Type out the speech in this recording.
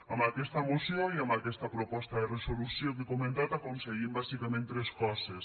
amb aquesta moció i amb aquesta proposta de resolució que he comentat aconseguim bàsicament tres coses